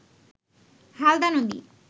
হালদা নদী